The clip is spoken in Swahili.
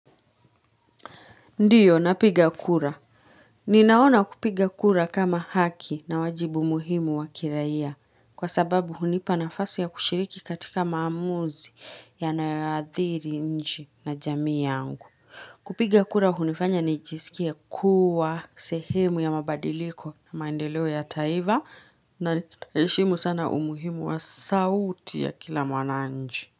Ndiyo napiga kura. Ninaona kupiga kura kama haki na wajibu muhimu waki raia kwa sababu hunipa nafasi ya kushiriki katika maamuzi yanayoadhiri nchi na jamii yangu. Kupiga kura hunifanya nijisikia kuwa sehemu ya mabadiliko na maendeleo ya taifa na heshimu sana umuhimu wa sauti ya kila mwananchi.